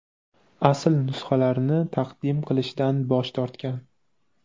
asl nusxalarini taqdim qilishdan bosh tortgan.